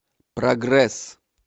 прогресс